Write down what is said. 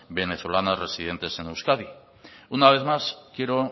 venezolanas residentes en euskadi una vez más quiero